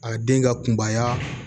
A den ka kunbaya